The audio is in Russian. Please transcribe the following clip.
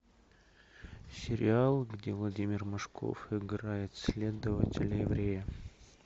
сериал где владимир машков играет следователя еврея